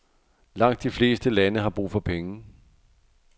Langt de fleste lande har brug for penge.